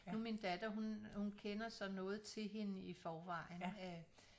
Nu min datter hun hun kender så noget til hende i forvejen